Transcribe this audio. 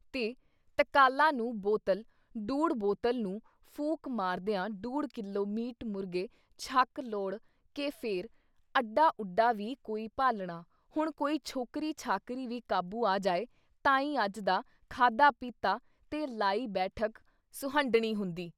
ਤੇ ਤਕਾਲਾਂ ਨੂੰ ਬੋਤਲ ਡੂਢ ਬੋਤਲ ਨੂੰ ਫੂਕ ਮਾਰਦਿਆਂ ਡੂਢ ਕਿਲੋ ਮੀਟ ਮੁਰਗੇ ਛਕ ਲੋੜ੍ਹ ਕੇ ਫਿਰ ਅੱਡਾ-ਉੱਡਾ ਵੀ ਕੋਈ ਭਾਲਣਾ, ਹੁਣ ਕੋਈ ਛੋਕਰੀ ਛਾਕਰੀ ਵੀ ਕਾਬੂ ਆ ਜਾਏ ਤਾਂ ਈ ਅੱਜ ਦਾ ਖਾਧਾ-ਪੀਤਾ ਤੇ ਲਾਈ ਬੈਠਕ-ਸੁਹੰਢਣੀ ਹੁੰਦੀ।